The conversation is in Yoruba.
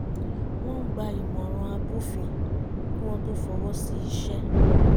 wọ́n ń gba ìmọ̀ràn abófin kí wọ́n tó fọwọ́ sí iṣẹ́